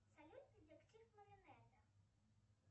салют детектив